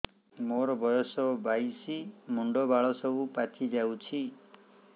ମୋର ବୟସ ବାଇଶି ମୁଣ୍ଡ ବାଳ ସବୁ ପାଛି ଯାଉଛି